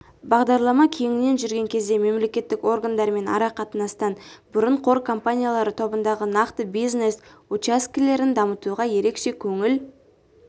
бағдарлама кеңінен жүрген кезде мемлекеттік органдармен ара-қатынастан бұрын қор компаниялары тобындағы нақты бизнес учаскелерін дамытуға ерекше көңіл